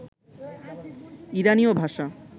ইরানীয় ভাষা